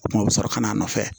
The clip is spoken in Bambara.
O kuma o bɛ sɔrɔ ka n'a nɔfɛ